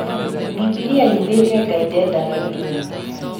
Bibilia yugĩte Ngai ndendaga irimũ